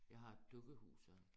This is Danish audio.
Jeg har et dukkehus her